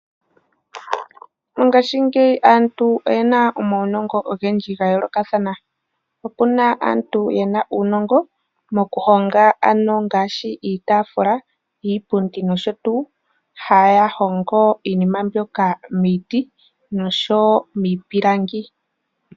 Ngaashingeyi aantu oyena omaunongo ogendji ga yoolokathana. Opuna aantu yena uunongo mokuhonga ano ngaashi iitaafula, iipundi nosho tuu, haya hongo iinima mbyoka miiti nosho wo miipilangi.